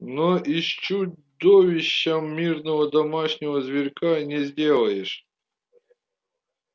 но из чудовища мирного домашнего зверька не сделаешь